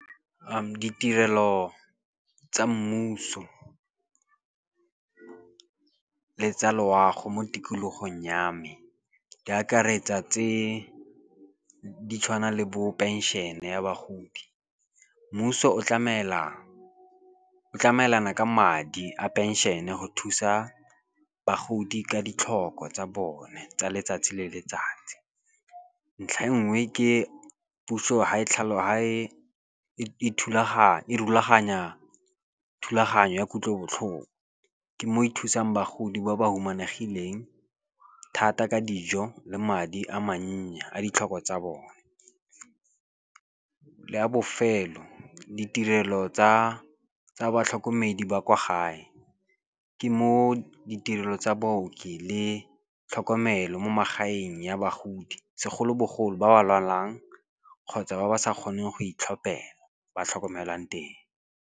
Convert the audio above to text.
Ditirelo tsa mmuso le tsa loago mo tikologong ya me di akaretsa tse di tshwanang le bo penšhene ya bagodi. Mmuso o tlamelana ka madi a penšene go thusa bagodi ka ditlhoko tsa bone tsa letsatsi le letsatsi. Ntlha e nngwe ke puso ha e rulaganya thulaganyo ya kutlobotlhoko. Ke mo ithusang bagodi ba ba humanegileng thata ka dijo le madi a mannye a ditlhoko tsa bone. La bofelo, ditirelo tsa batlhokomedi ba kwa gae, ke mo ditirelo tsa booki le tlhokomelo mo magaeng ya bagodi, segolobogolo ba ba lwalang kgotsa ba ba sa kgoneng go itlhophela ba tlhokomelwang teng.